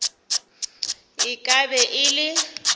e ka be e le